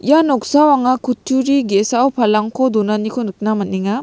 ia noksao anga kutturi ge·sao palangko donaniko nikna man·enga.